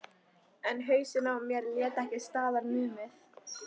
En hausinn á mér lét ekki staðar numið.